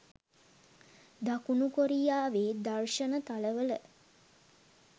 දකුණු කොරියාවේ දර්ශන තල වල